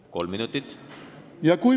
Kas kolm minutit?